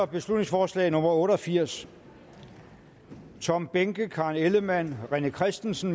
beslutningsforslag nummer b otte og firs tom behnke karen ellemann rené christensen